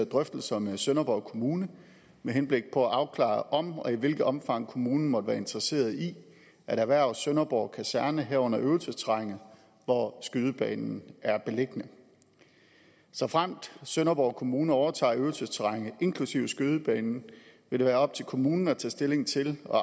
drøftelser med sønderborg kommune med henblik på at afklare om og i hvilket omfang kommunen måtte være interesseret i at erhverve sønderborg kaserne herunder øvelsesterrænet hvor skydebanen er beliggende såfremt sønderborg kommune overtager øvelsesterrænet inklusive skydebanen vil det være op til kommunen at tage stilling til og